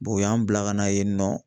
o y'an bila ka na yen nɔ